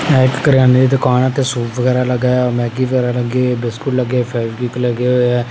सुप वगैरा लगा हैं मैगी वगैरा लगे हैं बिस्किट लगे फेवीक्विक लगे हुए हैं